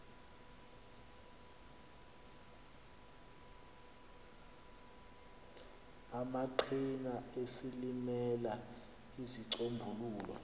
amaqhina esilimela uzicombulule